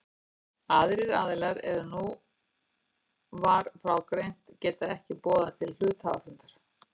Aðrir aðilar en nú var frá greint geta ekki boðað til hluthafafundar.